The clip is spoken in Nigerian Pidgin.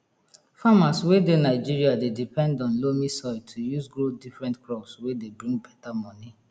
farmers wey dey nigeria dey depend on loamy soil to use grow different crops wey de bring beta moni